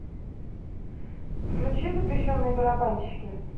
включи запрещенные барабанщики